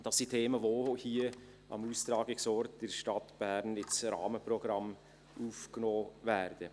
Das sind Themen, die auch hier am Austragungsort in der Stadt Bern in das Rahmenprogramm aufgenommen werden.